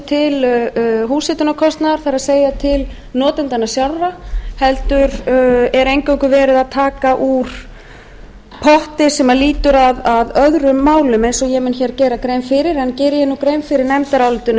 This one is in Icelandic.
til húshitunarkostnaðar það er til notendanna sjálfra heldur er eingöngu verið að taka úr potti sem lýtur að öðrum málum eins og ég mun hér gera grein fyrir en geri ég nú grein fyrir nefndarálitinu